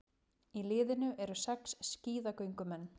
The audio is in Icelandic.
Í liðinu eru sex skíðagöngumenn